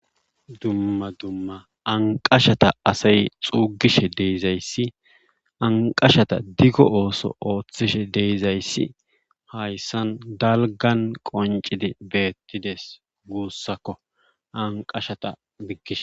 Dumma dumma anqqashata asay xuugishe de7izayssi anqqashata digo ooso oothishe de7izayssi hayssan dalggan qonnccidi beettides anqqashatta diggishe.